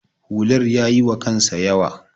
hular ya yiwa kansa yawa